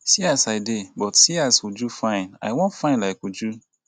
see as i dey but seeas uju fine. i wan fine like uju.